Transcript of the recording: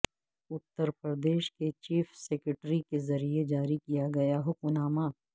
اتر پردیش کے chief secretary کے ذریعے جاری کیا گیا حکم نامہ